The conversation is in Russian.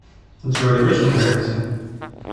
джой очень нравится